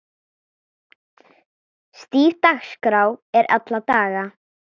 Stíf dagskrá er alla daga.